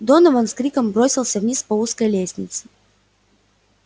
донован с криком бросился вниз по узкой лестнице